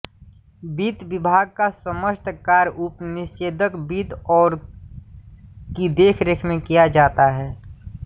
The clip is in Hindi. वित्त विभाग का समस्त कार्य उपनिदेशक वित्त की देखरेख में किया जाता है